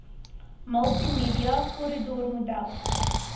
multimedia corridor model